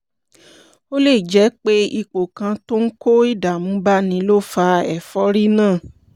ó lè jẹ́ pé ipò kan tó ń kó ìdààmú báni ló fa ẹ̀fọ́rí náà